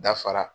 Dafara